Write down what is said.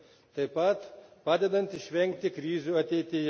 taip pat padedant išvengti krizių ateityje.